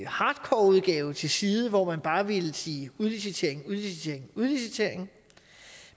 hardcoreudgave til side hvor man bare ville sige udlicitering udlicitering